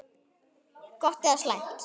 Gott eða slæmt?